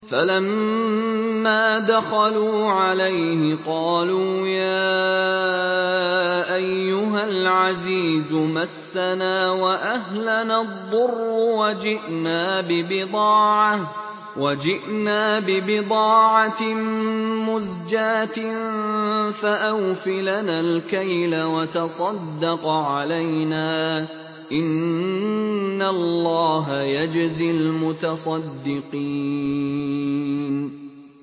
فَلَمَّا دَخَلُوا عَلَيْهِ قَالُوا يَا أَيُّهَا الْعَزِيزُ مَسَّنَا وَأَهْلَنَا الضُّرُّ وَجِئْنَا بِبِضَاعَةٍ مُّزْجَاةٍ فَأَوْفِ لَنَا الْكَيْلَ وَتَصَدَّقْ عَلَيْنَا ۖ إِنَّ اللَّهَ يَجْزِي الْمُتَصَدِّقِينَ